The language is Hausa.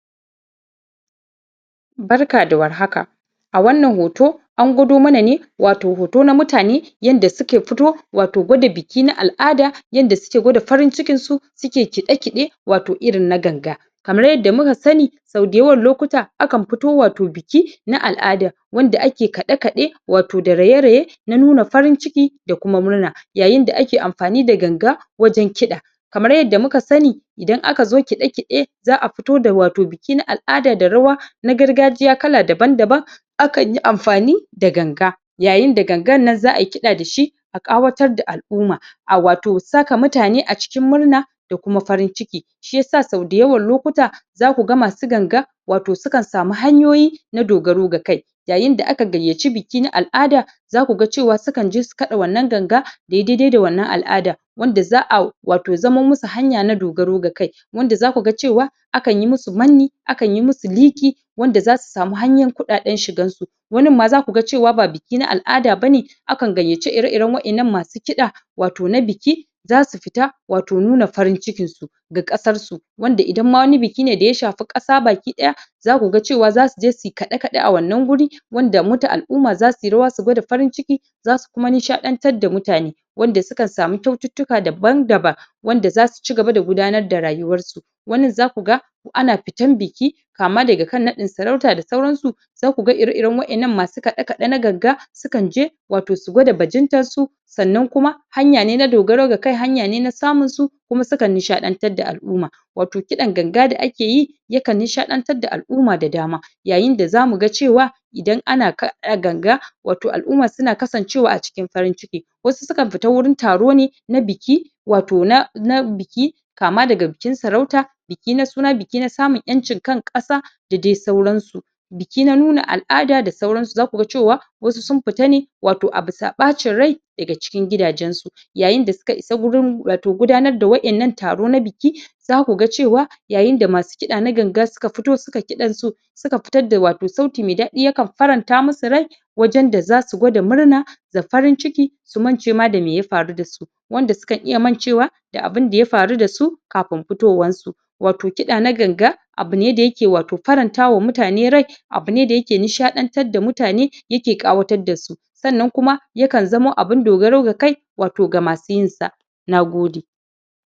Barka da warhaka a wannan hoto an gwado mana ne watau hoto na mutane yanda suka fito watau gwada biki na al'ada yanda suke gwada farin cikin su suke kiɗe kiɗe iirin na ganga kamar yadda muka sani sau dayawan lokuta akan fito watau biki na al'ada wanda ake kaɗe-kaɗe watau da raye-raye na nuna farin ciki da kuma murna yayin da ake amfani da ganga wajen kiɗa kamar yadda muka sani idan aka zo kiɗe-kiɗe za a fito da watau biki na al'ada da rawa na gargajiya kala daban daban akan yi amfani da ganga yayin da gangan nan za a yi kiɗa da shi a ƙawatar da al'umma a watau saka mutane a cikin murna da kuma farin ciki shiyasa sau dayawan lokuta zaku ga masu ganga watau sukan samu hanyoyi na dogaro ga kai yayin da aka gayyaci biki na al'ada zaka ga sukan je su kaɗa wannan ganga da yayi daidai da wannan al'ada wanda za a watau zamo musu hanya na dogaro ga kai wanda zaku ga cewa akan yi musu manni akan yi musu liƙi wanda zasu samu hanyan kuɗaɗen shigansu wannin ma zaku ga cewa ba biki na al'ada bane aakan gayyace ire-iren wa'innan masu kiɗa watau na biki zasu fita watau muna farin cikinsu ga ƙasar su wanda idan ma wani biki ne da ya shafi ƙasa baki ɗaya zaku ga cewa zasu je su yi kaɗe-kaɗe a wanna wuri wanda al'umma zasu yi rawa su gwada farin ciki zasu kuma nishaɗantar da mutane wanda sukan samu kyaututtuka daban daban wanda zasu cigaba da gudanar da rayuwansu wanin zaku ga ana fitan biki kama daga kan naɗin sarauta da sauransu zaku ga ire-iren wa'innan masu kaɗe-kaɗe na ganga sukan je watau su gwada bajintar su sannan kuma hanya ne na dogaro ga kai hanya ne na samun su kuma sukan nishaɗantar da al'umma watau kiɗan ganga da ake yi yakan nishaɗantar da al'umma da dama yayin da zamu ga cewa idan ana kaɗa ganga watau al'umma suna kasancewa a cikin farin ciki wasu sukan fita wurin taro ne na biki watau na biki kama daga bikin sarauta biki na suna, biki na samun ƴancin kan ƙasa da dai sauran su biki na nuna al'ada da sauransu zaku ga cewa masu sun fita ne a bisa ɓacin rai daga cikin gidajen su yayin da suka isa wurin watau gudanar da wa'innan taro na biki zaku ga cewa yayin da masu kiɗa na ganga suka fito suka yi kiɗan su suka fitar da sauti mai daɗi sukan faranta musu rai wajen da zasu gwada murna da farin ciki su mance ma da me ya faru da su wanda sukan iya mancewa da abunda ya faru da su kafin fitowan su watau kiɗa na ganga abune da yake watau faranta wa mutane rai abu ne da yake nishaɗantar da mutane yake ƙawatar da su sannan kuma yakan zamo abun dogaro ga kai watau ga masu yin sa. Nagode.